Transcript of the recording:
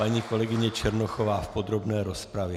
Paní kolegyně Černochová v podrobné rozpravě.